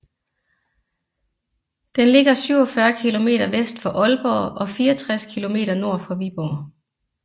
Den ligger 47 km vest for Aalborg og 64 km nord for Viborg